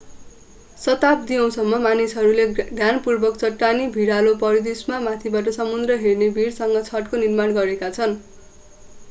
शताब्दियौँसम्म मानिसहरूले ध्यानपूर्वक चट्टानी भिरालो परिदृष्यमा माथिबाट समुद्र हेर्ने भिरसम्म छतको निर्माण गरेका छन्